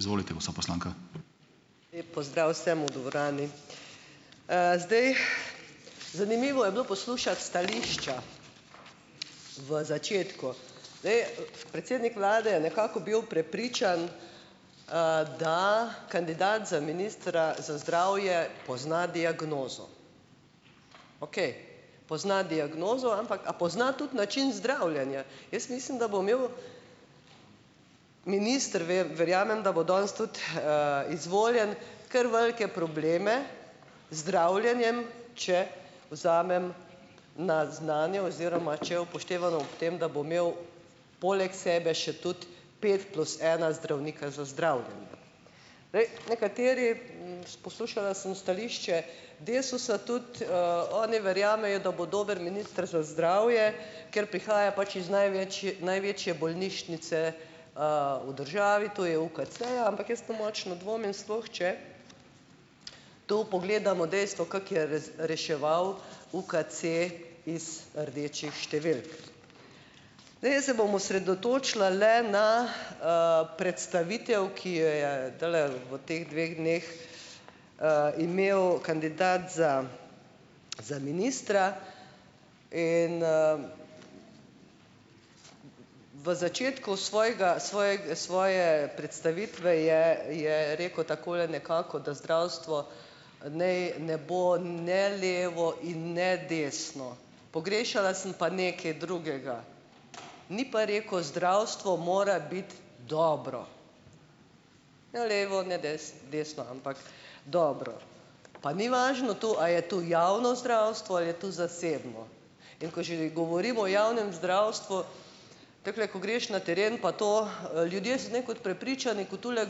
Lep pozdrav vsem v dvorani! zdaj ... Zanimivo je bilo poslušati stališča v začetku. Zdaj, predsednik vlade je nekako bil prepričan, da kandidat za ministra za zdravje pozna diagnozo. Okej, pozna diagnozo, ampak, a pozna tudi način zdravljenja? Jaz mislim, da bo imel minister verjamem, da bo danes tudi izvoljen, kar velike probleme zdravljenjem, če vzamem na znanje oziroma če upoštevano ob tem, da bo imel poleg sebe še tudi pet plus ena zdravnika za zdravljenje. Poslušala sem stališče Desusa. Tudi oni verjamejo, da bo dober minister za zdravje, ker prihaja pač iz največje bolnišnice v državi, to je UKC-ja. Ampak jaz pa močno dvomim, sploh če tu pogledamo dejstvo, kako je reševal UKC iz rdečih številk. Zdaj, jaz se bom osredotočila le na predstavitev, ki jo je zdajle v teh dveh dneh imel kandidat za za ministra. In ... V začetku svojega svoje predstavitve je je rekel takole nekako, da zdravstvo naj ne bo ne levo in ne desno. Pogrešala sem pa nekaj drugega, ni pa rekel, zdravstvo mora biti dobro, ne levo ne desno, ampak dobro. Pa ni važno to, a je to javno zdravstvo ali je to zasebno. In ko že govorimo o javnem zdravstvu, takole, ko greš na teren, pa to ljudje so nekako prepričani, ko tule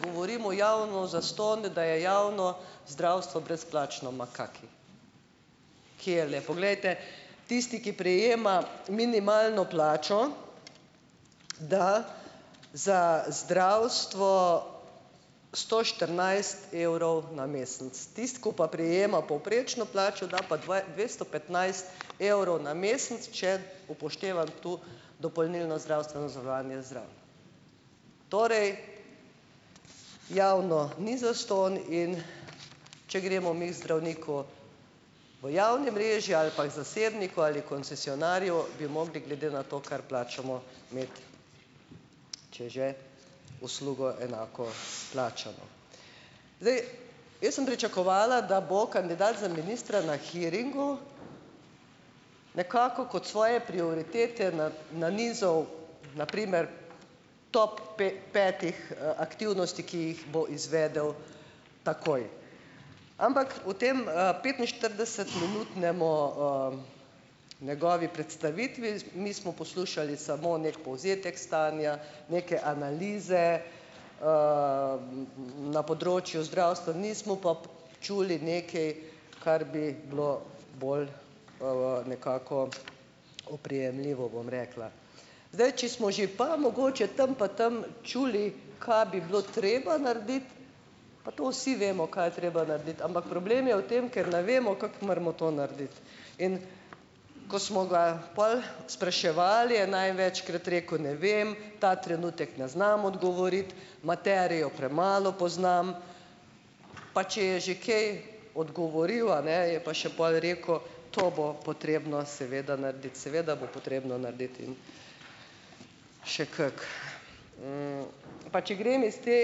govorimo javno zastonj, da je javno zdravstvo brezplačno. Ma kaki! Kje le! Poglejte, tisti, ki prejema minimalno plačo, da za zdravstvo sto štirinajst evrov na mesec. Tisti, ki pa prejema povprečno plačo, da pa dvesto petnajst evrov na mesec, če upoštevam tu dopolnilno zdravstveno zavarovanje zraven. Torej, javno ni zastonj, in če gremo mi zdravniku v javni mreži ali pa k zasebniku ali koncesionarju, bi mogli, glede na to, kar plačamo, imeti, če že, uslugo enako plačano. Zdaj, jaz sem pričakovala, da bo kandidat za ministra na hearingu nekako kot svoje prioritete nanizal na primer top petih aktivnosti, ki jih bo izvedel takoj. Ampak v tem petinštiridesetminutnemu, njegovi predstavitvi, mi smo poslušali samo nek povzetek stanja, neke analize, na področju zdravstva, nismo pa čuli neke, kar bi bilo bolj, nekako, oprijemljivo, bom rekla. Zdaj, če smo že pa mogoče tam pa tam čuli, kaj bi bilo treba narediti, pa to vsi vemo, kaj je treba narediti, ampak problem je v tem, ker ne vemo, kako moramo to narediti, in ko smo ga pol spraševali, je največkrat rekel, ne vem, ta trenutek ne znam odgovoriti, materijo premalo poznam. Pa če je že kaj odgovoril, a ne, je pa še pol rekel, to bo potrebno seveda narediti, seveda bo potrebno narediti in še kako. Pa če grem s te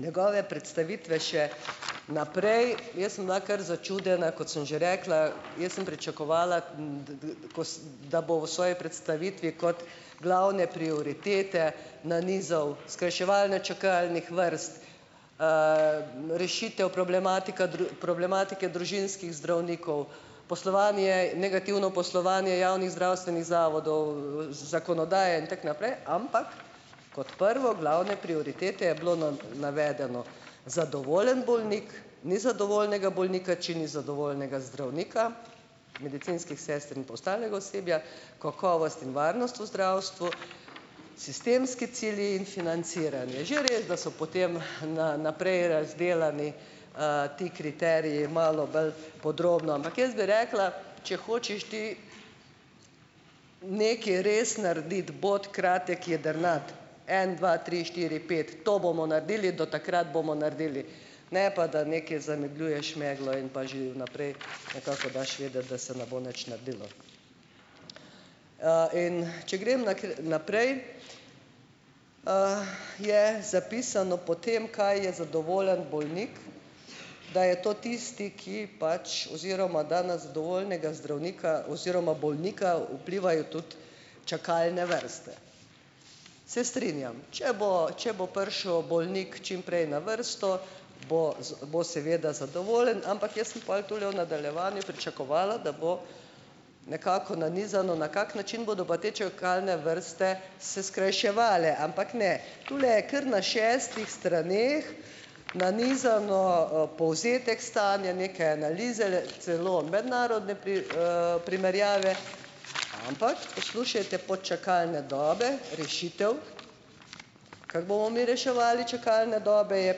njegove predstavitve še naprej, jaz sem bila kar začudena, kot sem že rekla, jaz sem pričakovala, da bo v svoji predstavitvi kot glavne prioritete nanizal skrajševanje čakalnih vrst, rešitev problematika problematike družinskih zdravnikov, poslovanje, negativno poslovanje javnih zdravstvenih zavodov, zakonodaje in tako naprej, ampak kot prvo, glavne prioritete je bilo navedeno zadovoljen bolnik, ni zadovoljnega bolnika, če ni zadovoljnega zdravnika, medicinskih sester in pa ostalega osebja, kakovost in varnost v zdravstvu, sistemski cilji in financiranje. Že res, da so potem naprej razdelani ti kriteriji malo bolj podrobno, ampak jaz bi rekla, če hočeš ti nekaj res narediti, bodi kratek, jedrnat en dva tri štiri pet, to bomo naredili, do takrat bomo naredili, ne pa da nekaj zamegljuješ meglo in pa že vnaprej nekako daš vedeti, da se ne bo nič naredilo. In če grem naprej, je zapisano potem, kaj je zadovoljen bolnik, da je to tisti, ki pač oziroma da na zadovoljnega zdravnika oziroma bolnika vplivajo tudi čakalne vrste. Se strinjam. Če bo, če bo prišel bolnik čim prej na vrsto, bo bo seveda zadovoljen, ampak jaz sem pol tule v nadaljevanju pričakovala, da bo nekako nanizano, na kak način bodo pa te čakalne vrste se skrajševale, ampak ne. Tule je kar na šestih straneh nanizano, povzetek stanja neke analize, celo mednarodne primerjave, ampak, poslušajte pod čakalne dobe, rešitev, kako bomo mi reševali čakalne dobe, je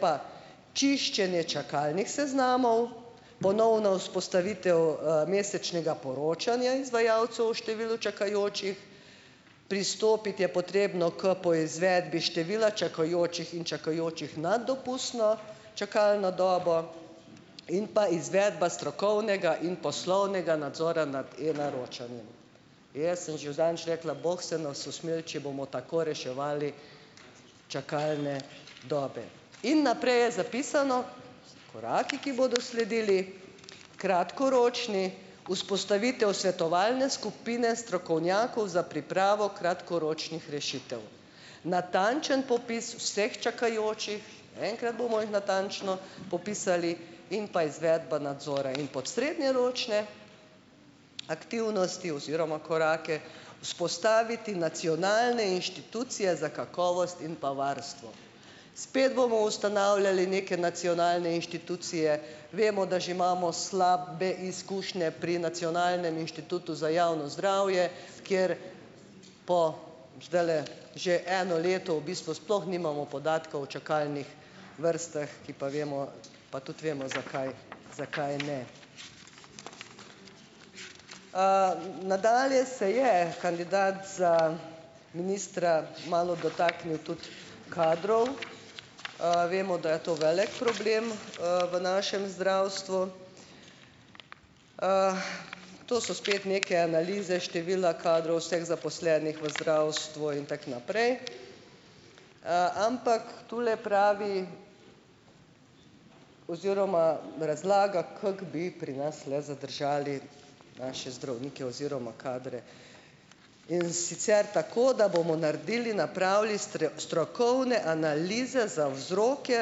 pa čiščenje čakalnih seznamov, ponovna vzpostavitev mesečnega poročanja izvajalcev o številu čakajočih, pristopiti je potrebno k poizvedbi števila čakajočih in čakajočih nad dopustno čakalno dobo in pa izvedba strokovnega in poslovnega nadzora nad e-naročanjem. Jaz sem že zadnjič rekla, bog se nas usmili, če bomo tako reševali čakalne dobe. In naprej je zapisano, koraki, ki bodo sledili, kratkoročni: vzpostavitev svetovalne skupine strokovnjakov za pripravo kratkoročnih rešitev, natančen popis vseh čakajočih, enkrat bomo jih natančno popisali, in pa izvedba nadzora, in pod srednjeročne aktivnosti oziroma korake: vzpostaviti nacionalne inštitucije za kakovost in pa varstvo. Spet bomo ustanavljali neke nacionalne inštitucije, vemo, da že imamo slabe izkušnje pri Nacionalnem inštitutu za javno zdravje, kjer po, zdajle, že eno leto v bistvu sploh nimamo podatka o čakalnih vrstah, ki pa vemo, pa tudi vemo, zakaj zakaj ne. Nadalje se je kandidat za ministra malo dotaknil tudi kadrov. Vemo, da je to velik problem v našem zdravstvu. To so spet neke analize števila kadrov vseh zaposlenih v zdravstvu in tako naprej, ampak tule pravi oziroma razlaga, kako bi pri nas le zadržali naše zdravnike oziroma kadre, in sicer tako, da bomo naredili, napravili strokovne analize za vzroke,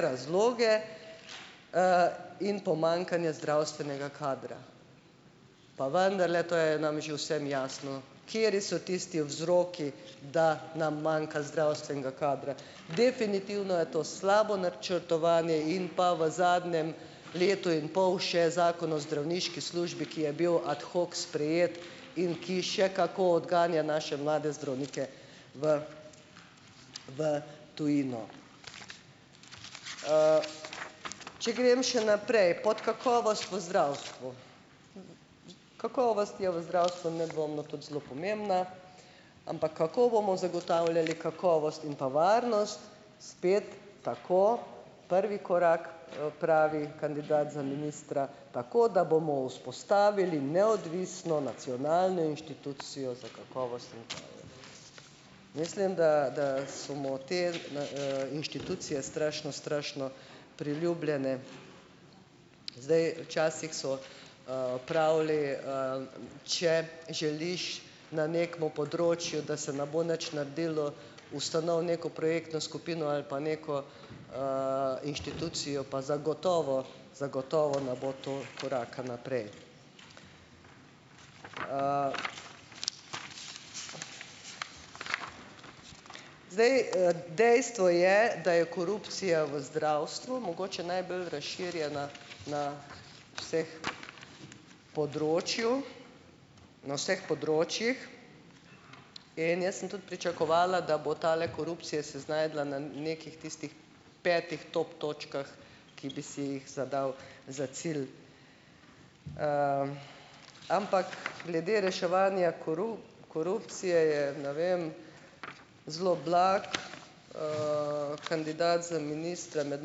razloge in pomanjkanje zdravstvenega kadra. Pa vendarle to je nam že vsem jasno, kateri so tisti vzroki, da nam manjka zdravstvenega kadra. Definitivno je to slabo načrtovanje in pa v zadnjem letu in pol še Zakon o zdravniški službi, ki je bil ad hoc sprejet in ki še kako odganja naše mlade zdravnike v v tujino. Če grem še naprej pod kakovost v zdravstvu. Kakovost je v zdravstvu nedvomno tudi zelo pomembna, ampak kako bomo zagotavljali kakovost in pa varnost, spet tako, prvi korak, pravi kandidat za ministra, tako da bomo vzpostavili neodvisno nacionalno inštitucijo za kakovost. Mislim, da da so mu te inštitucije strašno, strašno priljubljene. Zdaj, včasih so pravili če želiš na nekemu področju, da se ne bo nič naredilo, ustanovi neko projektno skupino ali pa neko inštitucijo, pa zagotovo zagotovo ne bo to koraka naprej. Zdaj, dejstvo je, da je korupcija v zdravstvu mogoče najbolj razširjena na vseh področju na vseh področjih in jaz sem tudi pričakovala, da bo tale korupcija se znašla na nekih tistih petih top točkah, ki bi si jih zadal za cilj. Ampak glede reševanja korupcije je, ne vem, zelo blag. Kandidat za ministra med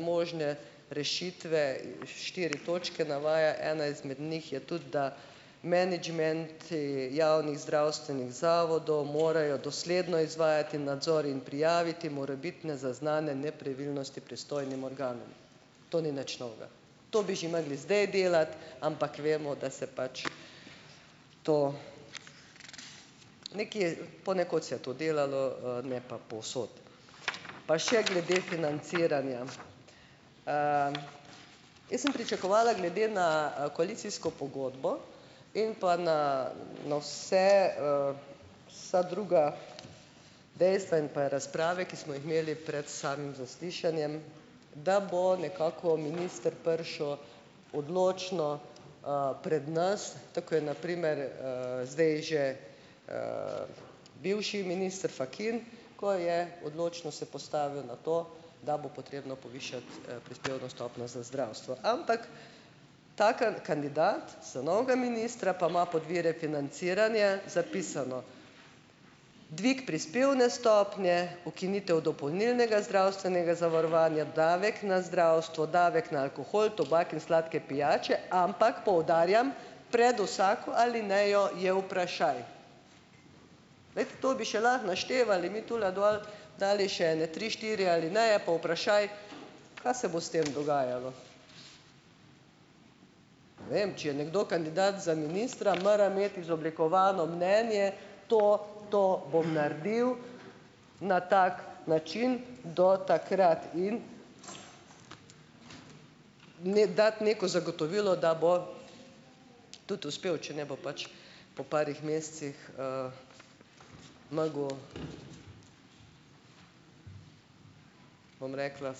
možne rešitve, štiri točke navaja, ena izmed njih je tudi, da menedžmenti javnih zdravstvenih zavodov morajo dosledno izvajati nadzor in prijaviti morebitne zaznane nepravilnosti pristojnim organom. To ni nič novega, to bi že mogli zdaj delati, ampak vemo, da se pač to nekje, ponekod se je to delalo, ne pa povsod. Pa še glede financiranja. Jaz sem pričakovala glede na koalicijsko pogodbo in pa na na vse vsa druga dejstva in pa razprave, ki smo jih imeli pred samim zaslišanjem, da bo nekako minister prišel odločno pred nas, tako kot je na primer zdaj že bivši minister Fakin, ko je odločno se postavil na to, da bo potrebno povišati prispevno stopnjo za zdravstvo. Ampak ta kandidat za novega ministra pa ima pod vire financiranja zapisano: dve prispevni stopnji, ukinitev dopolnilnega zdravstvenega zavarovanja, davek na zdravstvo, davek na alkohol, tobak in sladke pijače, ampak poudarjam, pred vsako alinejo je vprašaj. Glejte, to bi še lahko naštevali mi tule dol, dali še ene tri, štiri alineje pa vprašaj, kaj se bo s tem dogajalo. Ne vem, če je nekdo kandidat za ministra, mora imeti izoblikovano mnenje: to, to bom naredil na tak način do takrat in dati neko zagotovilo, da bo tudi uspel, če ne bo pač po parih mesecih mogel, bom rekla,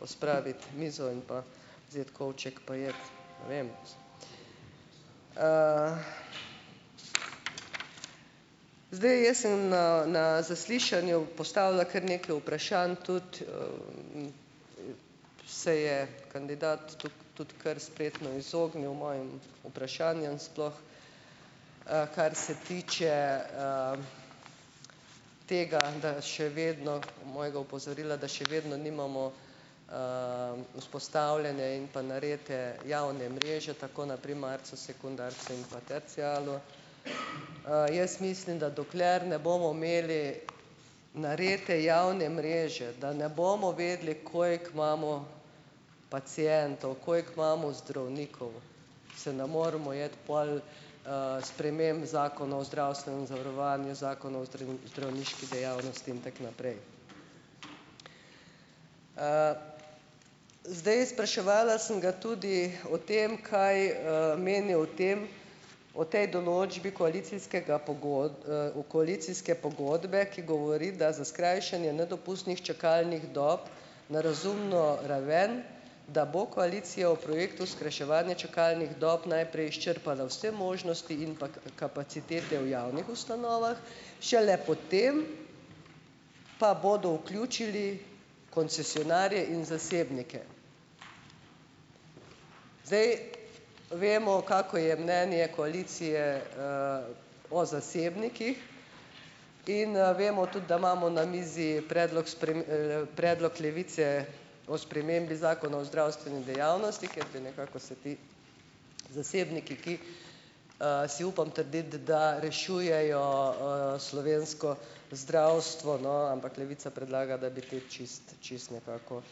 pospraviti mizo in pa vzeti kovček pa iti, ne vem. Zdaj, jaz sem na na zaslišanju postavila kar nekaj vprašanj, tudi se je kandidat tudi kar spretno izognil mojim vprašanjem, sploh kar se tiče tega, da še vedno mojega opozorila, da še vedno nimamo vzpostavljene in pa narejene javne mreže tako na primarcu, sekundarcu in pa tercialu. Jaz mislim, da dokler ne bomo imeli narejene javne mreže, da ne bomo vedeli, koliko imamo pacientov, koliko imamo zdravnikov, se ne moramo iti pol sprememb Zakona o zdravstvenem zavarovanju, Zakona o zdravniški dejavnosti in tako naprej. Zdaj, spraševala sem ga tudi o tem, kaj meni o tem, o tej določbi koalicijskega koalicijske pogodbe, ki govori, da za skrajšanje nedopustnih čakalnih dob na razumno raven, da bo koalicija v projektu skrajševanja čakalnih dob najprej izčrpala vse možnosti in pa kapacitete v javnih ustanovah, šele potem pa bodo vključili koncesionarje in zasebnike. Vemo, kako je mnenje koalicije o zasebnikih, in vemo tudi, da imamo na mizi predlog predlog Levice o spremembi Zakona o zdravstveni dejavnosti, kjer bi nekako se ti zasebniki, ki si upam trditi, da rešujejo slovensko zdravstvo, no, ampak Levica predlaga, da bi te čisto čisto nekako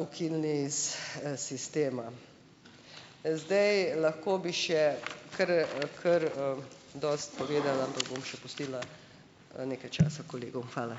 ukinili iz sistema. Zdaj, lahko bi še, kar kar dosti povedala, ampak bom še pustila nekaj časa kolegom. Hvala.